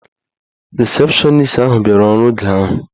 Risepshọnis ahụ bịara ọrụ oge ahụ.